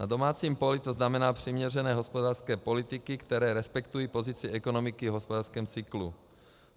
Na domácím poli to znamená přiměřené hospodářské politiky, které respektují pozici ekonomiky v hospodářském cyklu.